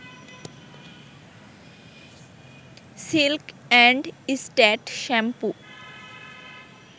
silk and stat shampoo